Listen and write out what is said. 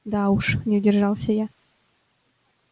да уж не удержался я